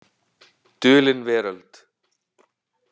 Dulin Veröld.